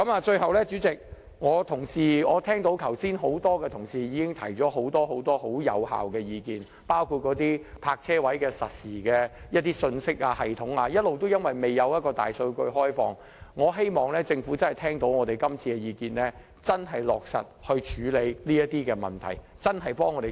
最後，主席，剛才很多同事已提出很多有效的意見，包括在泊車位實時信息系統方面，由於一直未開放大數據，我希望政府這次聽到我們的意見後，會真正落實處理這些問題，為我們發展一個智慧城市。